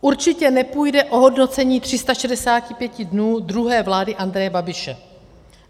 Určitě nepůjde o hodnocení 365 dnů druhé vlády Andreje Babiše.